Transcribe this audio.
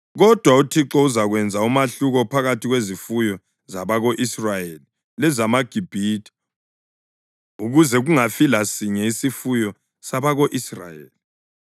Kodwa uThixo uzakwenza umahluko phakathi kwezifuyo zabako-Israyeli lezamaGibhithe ukuze kungafi lasinye isifuyo sabako-Israyeli.’ ”